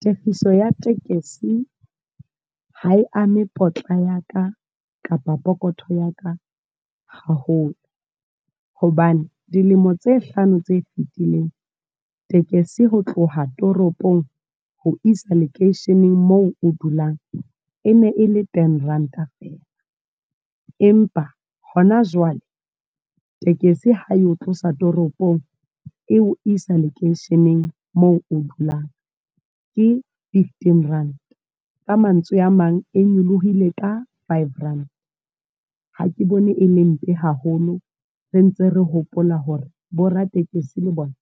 Tefiso ya tekesi, ha e ame potla ya ka, kapa pokotho ya ka haholo. Hobane dilemo tse hlano tse fetileng. Tekesi ho tloha toropong, ho isa lekeisheneng moo o dulang. E ne e le ten Rand-a fela. Empa, hona jwale, tekesi ha e tlosa toropong eo isa lekeisheneng moo o dulang, ke fifteen Rand. Ka mantswe a mang, e nyolohile ka five Rand. Ha ke bone e le mpe haholo. Re ntse re hopola hore, bo ratekesi le bona.